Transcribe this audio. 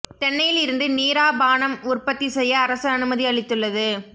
தென்னையில் இருந்து நீரா பானம் உற்பத்தி செய்ய அரசு அனுமதி அளித்துள்ளது